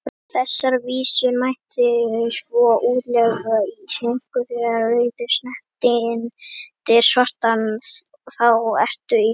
Þessar vísur mætti svo útleggja á íslensku: Þegar rauður snertir svartan, þá ertu í lagi,